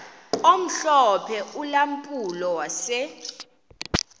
omhlophe ulampulo wase